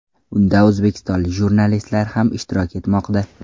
Unda o‘zbekistonlik jurnalistlar ham ishtirok etmoqda.